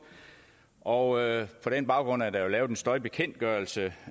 og på den baggrund er der lavet en støjbekendtgørelse